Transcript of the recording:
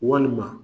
Walima